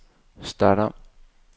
start om